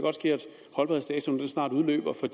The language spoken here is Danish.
holdbarhedsdatoen snart udløber for